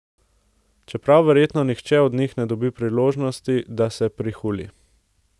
Čeprav verjetno nihče od njih ne bi dobil priložnosti, da se prihuli.